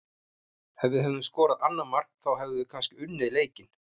Ef við hefðum skorað annað mark þá hefðum við kannski unnið leikinn.